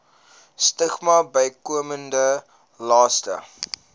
stigmas bykomende laste